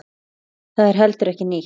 Það er heldur ekki nýtt.